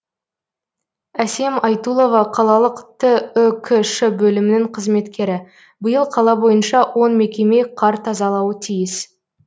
әсем айтулова қалалық түкш бөлімінің қызметкері биыл қала бойынша он мекеме қар тазалауы тиіс